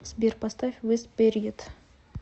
сбер поставь вес период